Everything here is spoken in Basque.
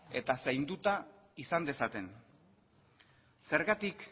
eta zainduta izan dezaten zergatik